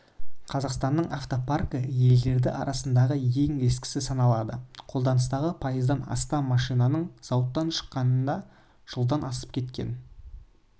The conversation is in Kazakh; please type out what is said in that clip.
қазақстанның автопаркі елдері арасындағы ең ескісі саналады қолданыстағы пайыздан астам машинаның зауыттан шыққанына жылдан асып кеткен